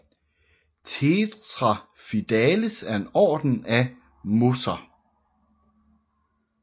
Tetraphidales er en orden af mosser